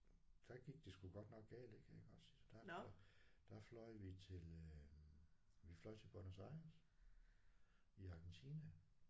Der gik det sgu godt nok galt ik iggås der der fløj vi til øh vi fløj til Buenos Aires i Argentina